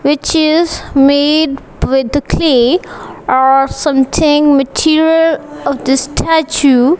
which is made with the clay or something material of the statue.